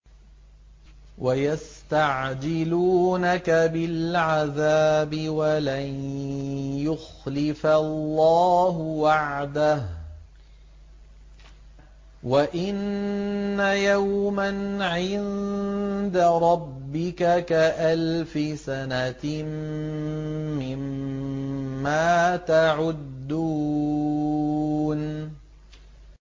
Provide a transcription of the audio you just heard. وَيَسْتَعْجِلُونَكَ بِالْعَذَابِ وَلَن يُخْلِفَ اللَّهُ وَعْدَهُ ۚ وَإِنَّ يَوْمًا عِندَ رَبِّكَ كَأَلْفِ سَنَةٍ مِّمَّا تَعُدُّونَ